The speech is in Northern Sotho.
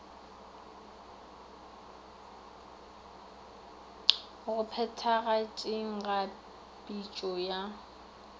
go phethagatšeng ga pitšo ya